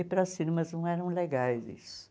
E para as firmas não eram legais isso.